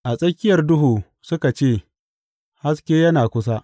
A tsakiyar duhu suka ce, Haske yana kusa.’